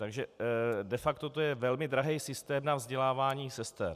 Takže de facto to je velmi drahý systém na vzdělávání sester.